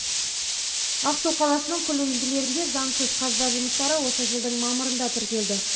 ақсу қаласының күл үйінділерінде заңсыз қазба жұмыстары осы жылдың мамырында тіркелді